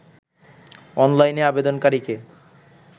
অনলাইনে আবেদনকারীকে